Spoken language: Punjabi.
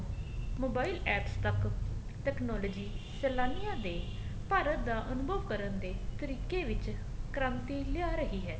mobile APPS ਤੱਕ technology ਸੇਲਾਨੀਆਂ ਦੇ ਭਾਰਤ ਦਾ ਅਨੁਭਵ ਕਰਨ ਦੇ ਤਰੀਕੇ ਵਿੱਚ ਕ੍ਰਾਂਤੀ ਲਿਆ ਰਹੀ ਹੈ